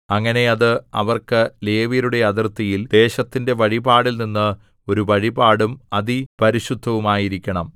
അങ്ങനെ അത് അവർക്ക് ലേവ്യരുടെ അതിർത്തിയിൽ ദേശത്തിന്റെ വഴിപാടിൽനിന്ന് ഒരു വഴിപാടും അതിപരിശുദ്ധവുമായിരിക്കണം